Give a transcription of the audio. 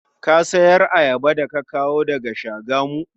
Ka sayar ayaba da kawo daga Shagamu?